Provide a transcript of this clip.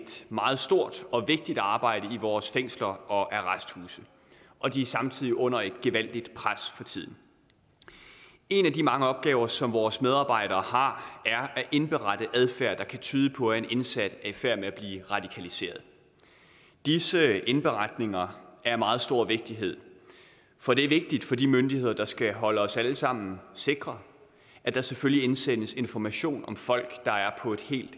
meget stort og vigtigt arbejde i vores fængsler og arresthuse og de er samtidig under et gevaldigt pres for tiden en af de mange opgaver som vores medarbejdere har er at indberette adfærd der kan tyde på at en indsat i færd med at blive radikaliseret disse indberetninger er af meget stor vigtighed for det er vigtigt for de myndigheder der skal holde os alle sammen sikre at der selvfølgelig indsendes information om folk der er på et helt